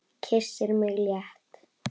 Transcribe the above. Kyssir mig létt.